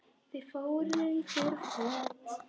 Þau fóru í þurr föt.